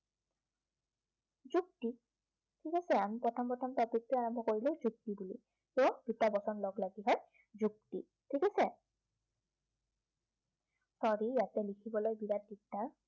ঠিক আছে, আমি প্ৰথম প্ৰথম topic টো আৰম্ভ কৰিলো যুক্তি বুলি। দুটা বচন লগ লাগিহে যুক্তি, ঠিক আছে sorry ইয়াতে লিখিবলৈ বিৰাত দিগদাৰ